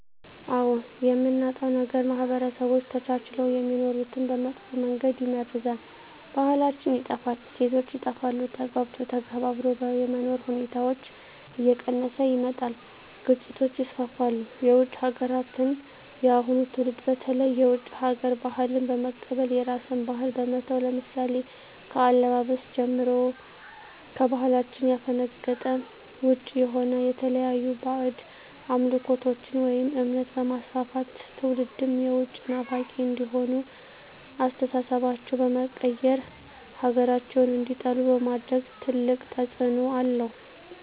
አዎ የምናጣው ነገር ማህበረሰቦች ተቻችለው የሚኖሩትን በመጥፎ መንገድ ይመርዛል , ባህላችን ይጠፋል, እሴቶች ይጠፋሉ, ተግባብቶ ተከባብሮ የመኖር ሁኔታዎች እየቀነሰ ይመጣል ግጭቶች ይስፋፋሉ። የውጭ ሀገራትን የአሁኑ ትውልድ በተለይ የውጭ ሀገር ባህልን በመቀበል የራስን ባህል በመተው ለምሳሌ ከአለባበስ ጀምሮ ከባህላችን ያፈነገጠ ውጭ የሆነ የተለያዩ ባህድ አምልኮቶችን ወይም እምነት በማስፋፋት ትውልድም የውጭ ናፋቂ እንዲሆኑ አስተሳሰባቸው በመቀየር ሀገራቸውን እንዲጠሉ በማድረግ ትልቅ ተፅዕኖ አለው።